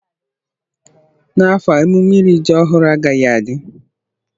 N'afọ a emume iri ji ọhụrụ agaghị adị.